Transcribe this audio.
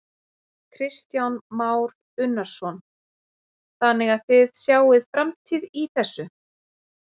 Kristján Már Unnarsson: Þannig að þið sjáið framtíð í þessu?